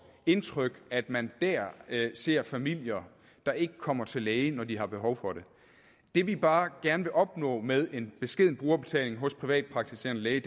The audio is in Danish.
indtryk at man der ser familier der ikke kommer til lægen når de har behov for det det vi bare gerne vil opnå med en beskeden brugerbetaling hos privatpraktiserende læge